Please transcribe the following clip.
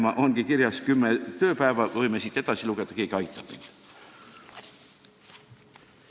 Aga mu spikris ongi kirjas kümme tööpäeva, võime need kokku lugeda, ehk keegi aitab mind.